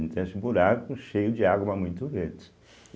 esse buraco cheio de água, mas muito verde.